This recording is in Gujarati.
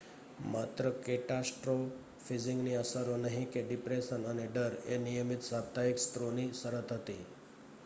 માત્ર કેટાસ્ટ્રોફીઝિંગની અસરો નહીં કે ડિપ્રેશન અને ડર એ નિયમિત સાપ્તાહિક સત્રોની શરત હતી